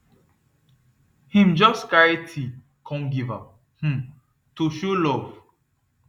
him just carry tea come give her um to show love